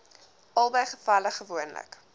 albei gevalle gewoonlik